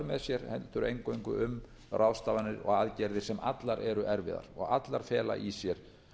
sér heldur eingöngu um ráðstafanir og aðgerðir sem allar eru erfiðar og allar fela í sér